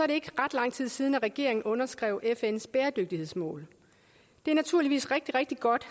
det ikke ret lang tid siden regeringen underskrev fns bæredygtighedsmål det er naturligvis rigtig rigtig godt